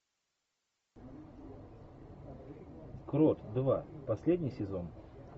крот два последний сезон